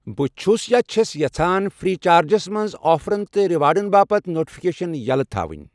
بہٕ چھَُس چھَس یژھان فرٛیی چارجس منٛز آفرَن تہٕ ریوارڑَن باپتھ نوٹفکیشن یَلٔۍ تھاوُن.